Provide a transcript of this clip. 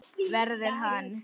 Verður hann.